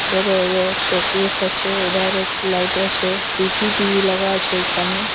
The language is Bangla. ওধারে ও শোকেস আছে উধারে একটো লাইট আছে সিসিটিভি লাগা আছে এইখানে ।